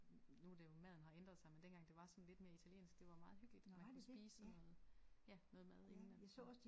Nu er det jo maden har ændret sig men dengang det var sådan lidt mere italiensk det var meget hyggeligt man kunne spise sådan noget ja noget mad inden at man